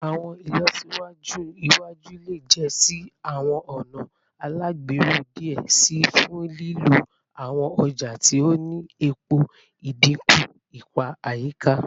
Awọn ilọsiwaju iwaju le ja si awọn ọna alagbero diẹ sii fun lilo awọn ọja ti o ni epo, idinku ipa ayika